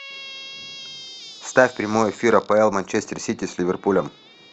ставь прямой эфир апл манчестер сити с ливерпулем